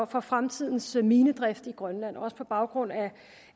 for fremtidens minedrift i grønland også på baggrund af